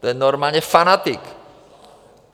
To je normálně fanatik.